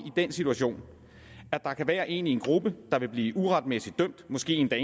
den situation at der kan være en i en gruppe der vil blive uretmæssigt dømt måske en der